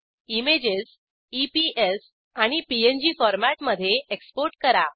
images EPS आणि PNG फॉरमॅटमधे export करा